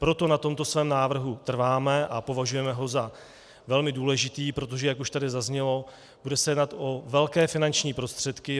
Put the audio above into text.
Proto na tomto svém návrhu trváme a považujeme ho za velmi důležitý, protože, jak už tady zaznělo, bude se jednat o velké finanční prostředky.